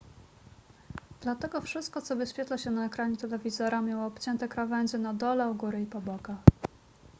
dlatego wszystko co wyświetla się na ekranie telewizora miało obcięte krawędzie na dole u góry i po bokach